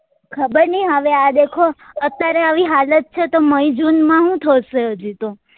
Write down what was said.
ખબર નહી હવે આ દેખો અત્યારે આવી હાલત છે તો મે જુન માં હું થશે હજી તો